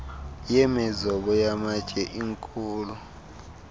yemizobo yamatye inkhulu